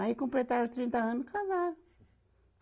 Aí completaram trinta ano e casaram.